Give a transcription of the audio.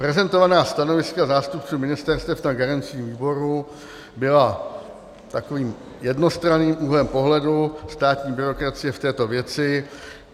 Prezentovaná stanoviska zástupců ministerstev na garančním výboru byla takovým jednostranným úhlem pohledu státní byrokracie v této věci.